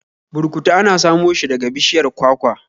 Burkutu ana samo shi daga bishiyar kwakwa